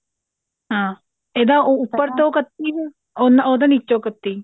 ਹਾਂ ਇਹਦਾ ਉੱਪਰ ਕੱਤੀ ਹੈ ਉਹਦਾ ਨੀਚੋਂ ਕੱਤੀ